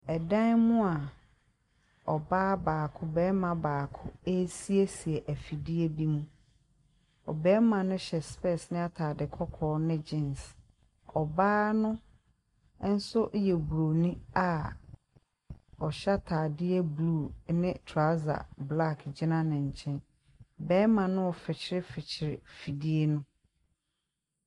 Ɛdan mu a ɔbaa baako, bɛrima baako esiesie afidie bi mu. Ɔbɛrima no hyɛ spɛs ne ataade kɔkɔɔ ne gyins. Ɔbaa no ɛnso yɛ broni a ɔhyɛ ataade blu ɛne trɔsa blak gyina ne nkyɛn. Bɛrima no fikyiri fikyiri fidie no.